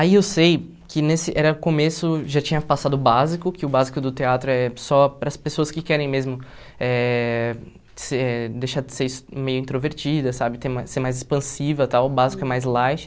Aí eu sei que nesse era começo já tinha passado o básico, que o básico do teatro é só para as pessoas que querem mesmo eh ser deixar de ser meio ex introvertida sabe, ser mais expansiva tal, o básico é mais light.